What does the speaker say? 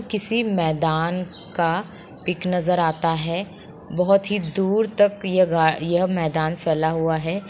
किसी मैदान का पिक नज़र आता है बहोत ही दूर तक यह मैदान फैला हुआ है।